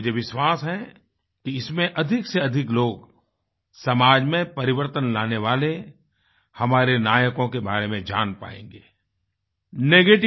मुझे विश्वास है कि इसमें अधिकसेअधिक लोग समाज में परिवर्तन लाने वाले हमारे नायकों के बारे में जान पाएँगे